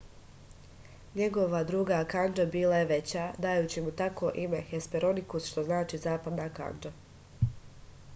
njegova druga kandža bila je veća dajući mu tako ime hesperonikus što znači zapadna kandža